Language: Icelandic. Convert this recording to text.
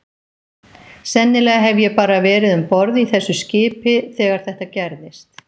Sennilega hef ég bara verið um borð í þessu skipi þegar þetta gerðist.